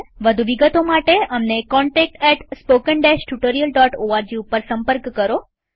વધુ વિગતો માટે અમને contactspoken tutorialorg ઉપર સંપર્ક કરો